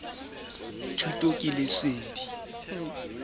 ha kgutshwanyana ho ya ka